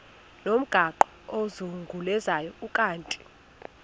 ngomgaqo ozungulezayo ukanti